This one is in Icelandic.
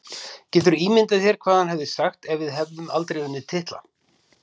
Geturðu ímyndað þér hvað hann hefði sagt ef við hefðum aldrei unnið titla?